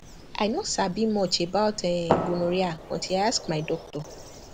i no sabi much about um gonorrhea until i ask my doctor